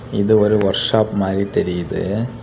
இது ஒரு workshop மாதிரி தெரியுது.